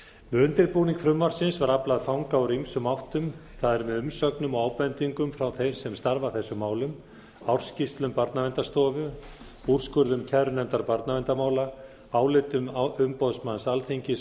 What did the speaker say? við undirbúning frumvarpsins var aflað fanga úr ýmsum áttum það er með umsögnum og ábendingum frá þeim sem starfa að þessum málum ársskýrslum barnaverndarstofu úrskurðum kærunefndar barnaverndarmála álitum umboðsmanns alþingis